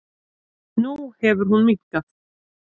Nú hefur hún minnkað.